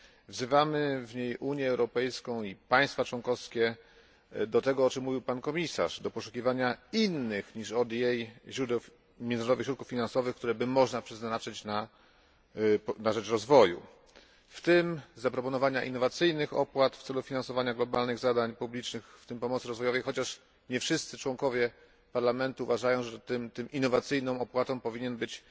Wzywamy w niej Unię Europejską i państwa członkowskie do tego, o czym mówił pan komisarz do poszukiwania innych niż ODA źródeł międzynarodowych środków finansowych, które można by przeznaczyć na rzecz rozwoju w tym zaproponowania innowacyjnych opłat w celu finansowania globalnych zadań publicznych, włącznie z pomocą rozwojową, chociaż nie wszyscy członkowie Parlamentu uważają, że tą innowacyjną opłatą powinien być